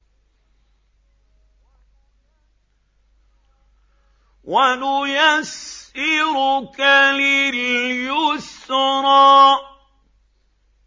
وَنُيَسِّرُكَ لِلْيُسْرَىٰ